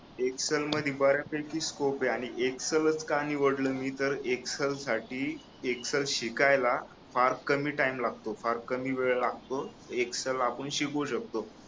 Excel मध्ये बऱ्यापैकी scope आहे आणि एक्सेल का निवडल मी तर एक्सेल साठी एक्सेल शिकायला फार कमी टाईम लागतो फार कमी वेळ लागतो एक्सेल आपण शिकू शकतो